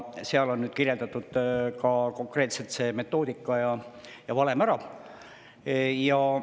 Seal on nüüd ka konkreetselt see metoodika ja valem ära kirjeldatud.